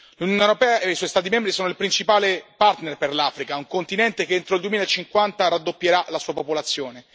L'Unione europea e i suoi Stati membri sono il principale partner per l'Africa, un continente che entro il 2050 raddoppierà la sua popolazione.